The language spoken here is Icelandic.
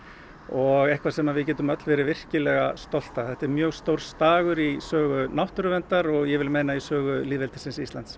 og eitthvað sem við getum öll verið stolt af þetta er mjög stór dagur í sögu náttúruverndar og ég vil meina í sögu lýðveldisins Íslands